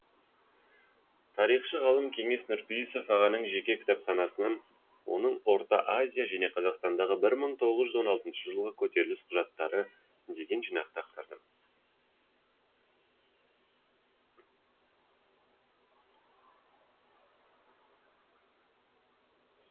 тарихшы ғалым кеңес нұрпейісов ағаның жеке кітапханасынан орта азия және қазақстандағы бір мың тоғыз жүз он алтыншы жылғы көтеріліс құжаттары деген жинақты ақтардым